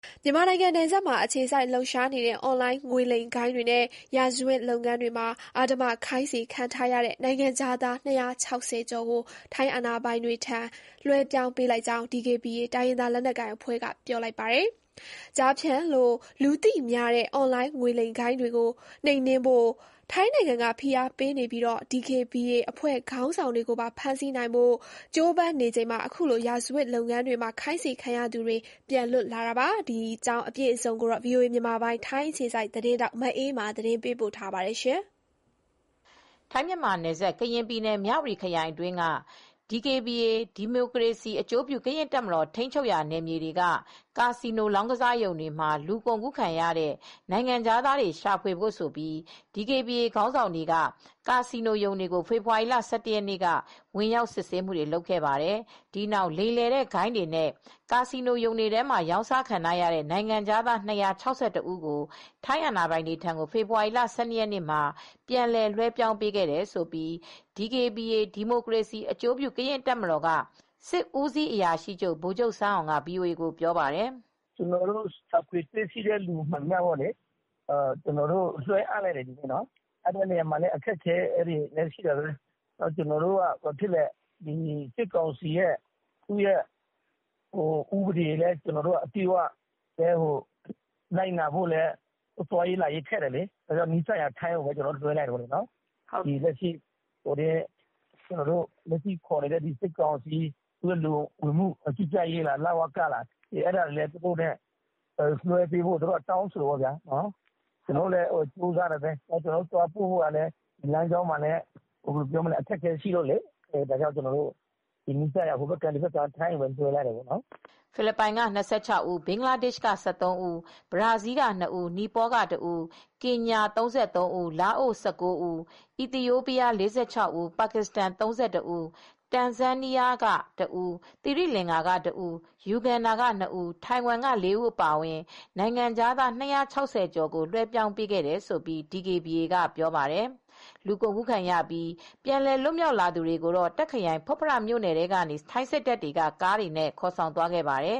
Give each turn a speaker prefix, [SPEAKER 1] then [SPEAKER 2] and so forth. [SPEAKER 1] မြန်မာနိုင်ငံနယ်စပ်မှာ အခြေစိုက်လှုပ်ရှားနေတဲ့ အွန်လိုင်းငွေလိမ်ဂိုဏ်းတွေနဲ့ ရာဇဝတ်လုပ်ငန်းတွေမှာ အဓမ္မခိုင်းစေခံထားရတဲ့ နိုင်ငံခြားသား ၂၆၀ ကျော်ကို ထိုင်းအာဏာပိုင်တွေထံ လွှဲပြောင်းပေးလိုက် ကြောင်း DKBA တိုင်းရင်းသား လက်နက်ကိုင်အဖွဲ့က ပြောပါတယ်။ ကျားဖြန့်လို့ လူသိများတဲ့ အွန်လိုင်း ငွေလိမ်ဂိုဏ်းတွေကို နှိမ်နင်းဖို့ ထိုင်းနိုင်ငံက ဖိအားပေးနေပြီး DKBA အဖွဲ့ခေါင်းဆောင်တွေကိုပါ ဖမ်းဆီးနိုင်ဖို့ ကြိုးပမ်းနေချိန်မှာ ရာဇဝတ်လုပ်ငန်းတွေမှာ ခိုင်းစေခံရသူတွေ အခုလို ပြန်လွတ်လာ တာပါ။ အပြည့်အစုံကိုတော့ ဗွီအိုအေ မြန်မာပိုင်း ထိုင်းအခြေစိုက် သတင်းထောက် မအေးအေးမာ သတင်းပေးပို့ ထားပါတယ်
[SPEAKER 2] ။ ထိုင်း-မြန်မာနယ်စပ် ကရင်ပြည်နယ် မြ၀တီခရိုင်အတွင်းက DKBA ဒီမိုကရေစီအကျိုးပြု ကရင် တပ်မတော် ထိန်းချုပ်ရာနယ်မြေတွေက ကာစီနိုလောင်းကစားရုံတွေမှာ လူကုန်ကူးခံရတဲ့ နိုင်ငံခြားသားတွေကိုရှာဖွေဖို့ဆိုပြီး ဒီကေဘီအေခေါင်းဆောင်တွေက ကာစီနိုရုံတွေကို ဖေဖေါ်ဝါရီလ ၁၁ ရက်နေ့မှာ ဝင်ရောက်စစ်ဆေးခဲ့ပါတယ်။ ဒီနောက် လိမ်လည်တဲ့ဂိုဏ်းတွေနဲ့ ကာစီနိုရုံတွေထဲမှာ ရောင်းစာခံထားရတဲ့နိုင်ငံခြားသား၂၆၁ ဦးကို ထိုင်းအာဏာပိုင်တွေထံကို ဖေဖေါ်ဝါရီလ ၁၂ ရက်နေ့မှာ ပြန်လည်လွှဲပြောင်းပေးခဲ့တယ်လို့ DKBA ဒီမိုကရေစီအကျိုးပြုကရင်တပ်မတော် စစ်ဦးစီးအရာရှိချုပ် ဗိုလ်မူးဆန်းအောင်က VOA ကိုပြောပါတယ်။ “ကျနော်တိ
[SPEAKER 3] ု့ရှာဖွေတွေ့ရှိတဲ့သူမှန်သမျှကို လွှဲအပ်လိုက်ပါတယ်၊ ဒီကနေ့မှာပဲ၊ လွှဲအပ်တဲ့နေရာမှာ လည်း အခက်အခဲများစွာရှိတယ်။ စစ်ကောင်စီရဲ့ဥပဒေကို အပြည့်အ၀အတိအကျလိုက်နာဖို့လည်း ခက်ခဲတယ်၊ ဘာဖြစ်လဲဆိုတော့ စစ်ကောင်စီဘက်က လူဝင်မှုကြီးကြပ်ရေးလ၀က ကလည်း သူတို့က တောင်းဆိုတယ်။ ကျနော်တို့ကလည်း သွားပို့ဖို့က ကျနော်တို့ကလမ်းခရီးကခက်ခဲတယ်။ ဒီတော့ အနီးဆုံးထိုင်းဘက်ကိုပဲ ကျနော်တို့လွှဲပြောင်းပေးလိုက်ပါတယ်။
[SPEAKER 2] ” ဖိလစ်ပိုင်က ၂၆ ဦး၊ ဘင်္ဂလားဒေ့ရှ်က ၁၃ ဦး၊ ဘရာဇီးက ၂ ဦး၊ နီပေါက ၁ ဦး၊ ကင်ညာ ၃၃ ဦး၊ လာအို ၁၉ ဦး၊ အီသီယိုးပီးယား ၄၆ ဦး၊ ပါကစ္စတန် ၃၁ ဦး၊ တန်ဇန်းနီးယား ၁ ဦး၊ သီရိလင်္ကာ ၁ ဦး၊ ယူဂန်ဒါ ၂ ဦး၊ ထိုင်ဝမ်မှ ၄ ဦးအပါအဝင် နိုင်ငံခြားသား ၂၆၀ ကျော်ကိုလွှဲပြောင်းပေးခဲ့တယ်လို့ DKAB က ပြော ပါတယ်။ လူကုန်ကူးခံရပြီး ပြန်လည်လွတ်မြောက်လာသူတွေကိုတော့ တာ့ခရိုင် ဖွတ်ဖရမြို့နယ်ကနေ ထိုင်းစစ်တပ်တွေက ကားတွေနဲ့ခေါ်ဆောင်ခဲ့ပါတယ်